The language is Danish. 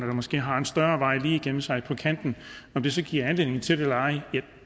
måske har en større vej lige igennem sig om det så giver anledning til det eller ej